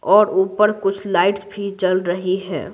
और ऊपर कुछ लाइट्स भी चल रही हैं।